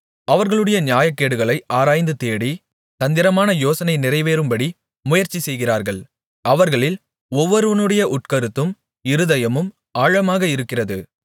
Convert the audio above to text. அவர்களுடைய நியாயக்கேடுகளை ஆராய்ந்துதேடி தந்திரமான யோசனை நிறைவேறும்படி முயற்சி செய்கிறார்கள் அவர்களில் ஒவ்வொருவனுடைய உட்கருத்தும் இருதயமும் ஆழமாக இருக்கிறது